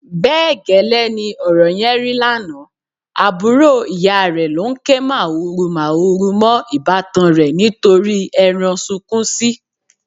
Bẹ́ẹ̀ gẹ́lẹ́ ni ọ̀rọ̀ yẹn rí lánàá, àbúrò ìyá rẹ̀ ló ń ké màhurumàhuru mọ́ ìbátan rẹ̀ nítorí ẹran sunkúnsí.